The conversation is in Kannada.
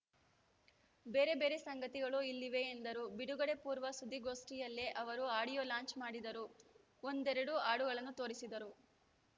ಬೇರೆ ಬೇರೆ ಸಂಗತಿಗಳು ಇಲ್ಲಿವೆ ಎಂದರು ಬಿಡುಗಡೆ ಪೂರ್ವ ಸುದ್ದಿಗೋಷ್ಠಿಲ್ಲೇ ಅವರು ಆಡಿಯೋ ಲಾಂಚ್‌ ಮಾಡಿದರು ಒಂದೆರಡು ಹಾಡುಗಳನ್ನು ತೋರಿಸಿದರು